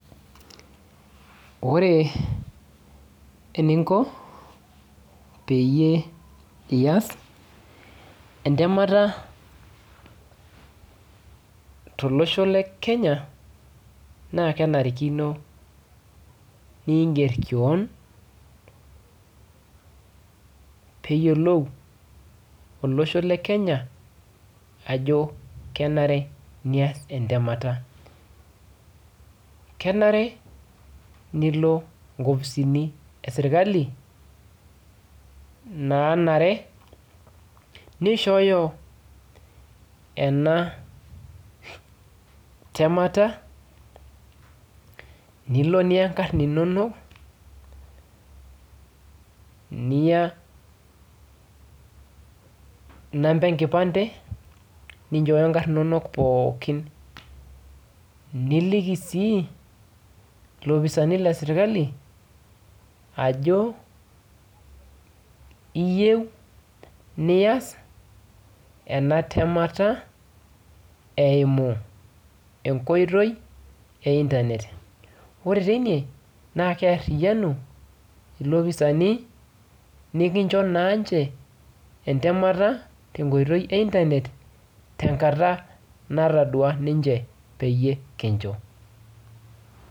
Ore eninko peyie iyas entemata tolosho le kenya naa kenarikino ningerr kewonpeyiolou olosho le kenya ajo kenare niyas entemata kenare nilo nkofisini esirkali nanare nishooyo ena temata nilo niya inkarrn inonok niya inamba enkipande ninchooyo inkarrn inonok pookin niliki sii ilopisani lesirkali ajo iyieu niyas ena temata eimu enkoitoi e internet ore teine naa kearriyianu ilopisani nikincho naanche entemata tenkoitoi e internet tenkata natadua ninche peyie kincho.